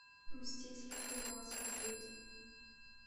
мстители финал смотреть